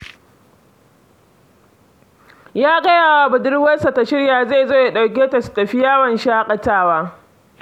Ya gaya wa budurwarsa ta shirya, zai zo ya ɗauke ta, su tafi yawon shaƙatawa.